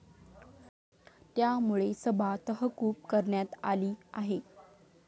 त्यामुळे सभा तहकूब करण्यात आली आहे.